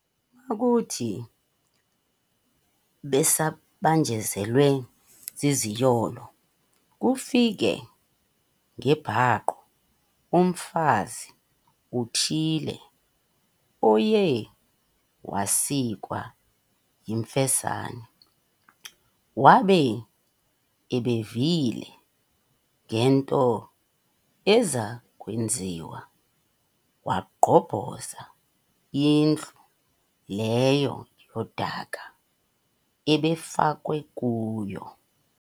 Makuthi besabanjezelwe ziziyolo, kufike ngebhaqo mfazi uthile oye wasikwa yimfesane, wabe ebevile ngento eza kwenziwa, wagqobhoza indlu leyo yodaka abefakwe kuyo.